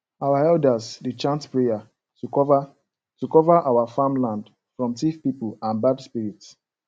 our elders dey chant prayer to cover to cover our farm land from thief people and bad spirits